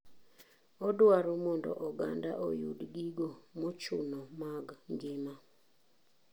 Odwaro mondo oganda oyud gigo mochuno mag ngima.